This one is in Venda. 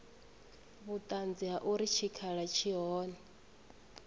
vhuṱanzi ha uri tshikhala tshi hone